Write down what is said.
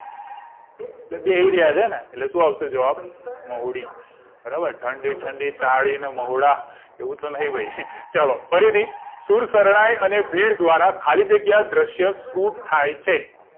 એટલે બેહી રહ્યા છેને એટલે સુ આવશે જવાબ મહુડી બરાબર ઠંડી ઠંડી તાળી ને મહુડા એવું તો નહી ભઈ ચલો ફરીથી શુર શરણાઈ અને ભીડ દ્વારા ખાલી જગ્યા દ્રશ્ય છુટ થાય છે